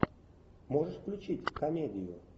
можешь включить комедию